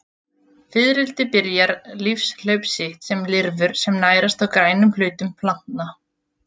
Fiðrildi byrja lífshlaup sitt sem lirfur sem nærast á grænum hlutum plantna.